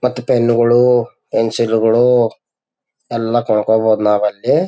ಮತ್ತೆ ಪೆನ್ನ್ ಗಳು ಪೆನ್ಸಿಲ್ ಗಳು ಎಲ್ಲ ಕೊಂಡುಕೊಬೋದು ನಾವಲ್ಲಿ.